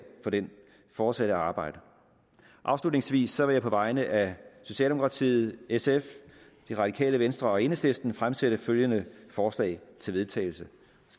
for det fortsatte arbejde afslutningsvis vil jeg på vegne af socialdemokratiet sf det radikale venstre og enhedslisten fremsætte følgende forslag til vedtagelse